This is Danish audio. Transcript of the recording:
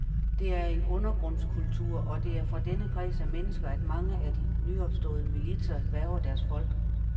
Det er en undergrundskultur, og det er fra denne kreds af mennesker, at mange af de nyopståede militser hverver deres folk.